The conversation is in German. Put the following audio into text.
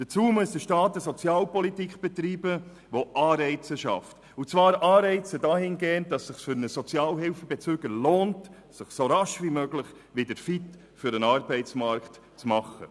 Hierzu muss der Staat eine Sozialpolitik betreiben, die Anreize schafft und zwar Anreize dahingehend, dass es sich für einen Sozialhilfebezüger lohnt, sich so rasch wie möglich wieder für den Arbeitsmarkt fit zu machen.